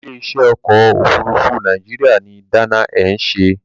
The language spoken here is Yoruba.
Ilé-iṣẹ́ ọkọ̀-òfurufú Nàìjíríà ni Dana Air ń ṣe.